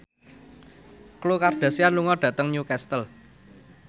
Khloe Kardashian lunga dhateng Newcastle